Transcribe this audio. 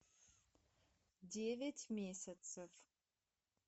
девять месяцев